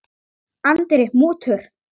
Andri: Mútur?